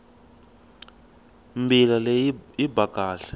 mbila leyi yi ba kahle